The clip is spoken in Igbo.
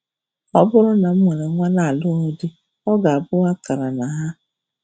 Ọ bụrụ na m nwere nwa na-alụghị di, ọ ga-abụ akara na ha.